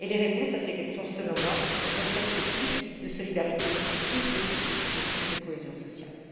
Et les réponses à ces questions, selon moi, ne peuvent être que plus de solidarité, plus de justice et plus de cohésion sociale.